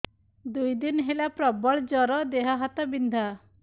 ଦୁଇ ଦିନ ହେଲା ପ୍ରବଳ ଜର ଦେହ ହାତ ବିନ୍ଧା